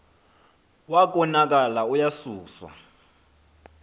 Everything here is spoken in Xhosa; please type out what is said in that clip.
wa konakala uyasuswa